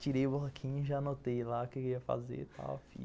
Tirei o bloquinho e já anotei lá o que eu ia fazer e tal.